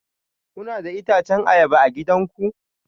Kuna da itacen ayaba a gidanku?